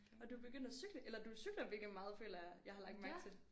Og du begyndt at cykle eller du cykler virkelig meget føler jeg jeg har lagt mærke til